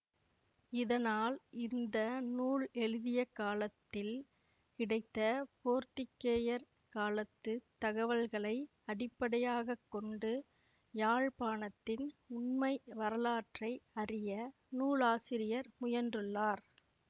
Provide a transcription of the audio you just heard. இதனால் இந்த நூல் எழுதிய காலத்தில் கிடைத்த போர்த்துக்கேயர் காலத்து தகவல்களை அடிப்படையாக கொண்டு யாழ்ப்பாணத்தின் உண்மை வரலாற்றை அறிய நூலாசிரியர் முயன்றுள்ளார்